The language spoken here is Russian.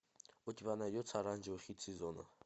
у тебя найдется оранжевый хит сезона